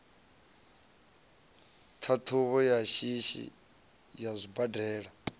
ṱhaṱhuvho ya shishi ya zwibadela